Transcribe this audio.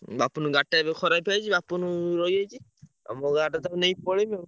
ବାପୁନୁ ଗାଡି ଟା ଏବେ ଖରାପ ହେଇଯାଇଚି ବାପୁନୁ ରହିଯାଇଛି, ଆଉ ମୋ ଗାଡିରେ ତାକୁ ନେଇ ପଳେଇବି ଆଉ।